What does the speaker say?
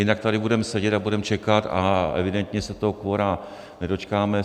Jinak tady budeme sedět a budeme čekat a evidentně se toho kvora nedočkáme.